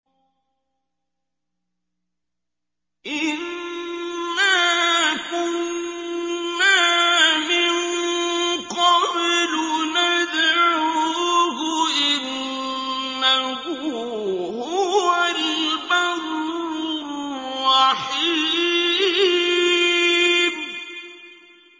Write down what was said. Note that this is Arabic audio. إِنَّا كُنَّا مِن قَبْلُ نَدْعُوهُ ۖ إِنَّهُ هُوَ الْبَرُّ الرَّحِيمُ